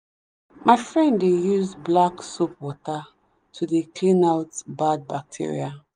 my friend dey use black soap water to dey clean out bad bacteria.